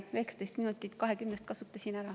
19 minutit 20‑st kasutasin ära.